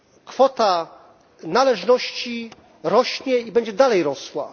Kwota należności rośnie i będzie dalej rosła.